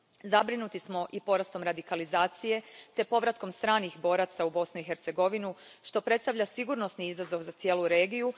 Zabrinuti smo i porastom radikalizacije te povratkom stranih boraca u Bosnu i Hercegovinu, što predstavlja sigurnosni izazov za cijelu regiju.